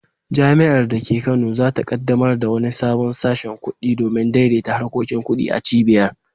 Jami’ar da ke Kano za ta kaddamar da wani sabon sashin kudi domin daidaita harkokin kudi a cibiyar.